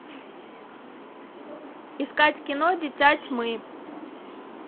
искать кино дитя тьмы